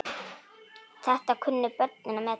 Þetta kunnu börnin að meta.